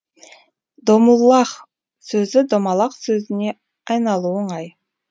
домуллах сөзі домалақ сөзіне айналуы оңай